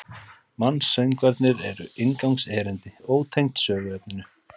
Mansöngvarnir eru inngangserindi, ótengd söguefninu.